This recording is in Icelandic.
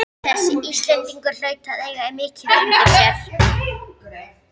Þessi Íslendingur hlaut að eiga mikið undir sér!